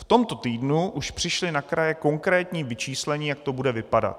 V tomto týdnu už přišlo na kraje konkrétní vyčíslení, jak to bude vypadat.